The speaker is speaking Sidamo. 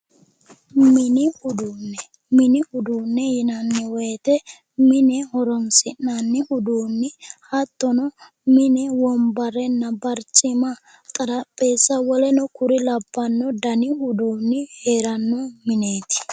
Mini uduunne. Mini uduunne yinanni woyite mine horo uduunne hattono mine wombarenna barcima xarapheezza woleno kuri labbanno dani uduunni heeranno mineeti.